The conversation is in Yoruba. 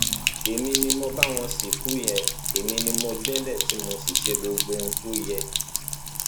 èmi ni mo bá wọn sìnkú yẹn èmi ni mo gbélé tí mo ṣe gbogbo ohun tó yẹ